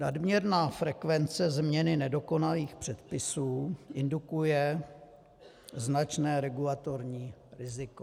Nadměrná frekvence změny nedokonalých předpisů indukuje značné regulatorní riziko.